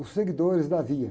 Os seguidores da via.